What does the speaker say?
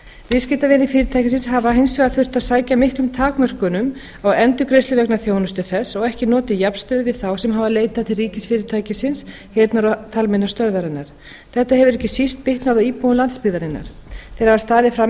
viðskiptavinir fyrirtækisins hafa hins vegar þurft að sæta miklum takmörkunum á endurgreiðslu vegna þjónustu þess og ekki notið jafnstöðu við þá sem hafa leitað til ríkisfyrirtækisins heyrnar og talmeinastöðvarinnar þetta hefur ekki síst bitnað á íbúum landsbyggðarinnar þeir hafa staðið frammi